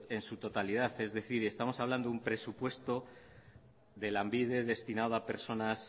en su totalidad es decir estamos hablando de un presupuesto de lanbide destinado a personas